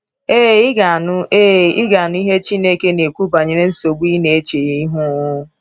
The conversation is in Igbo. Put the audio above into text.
Ee, ị ga-anụ Ee, ị ga-anụ ihe Chineke na-ekwu banyere nsogbu ị na-eche ihu!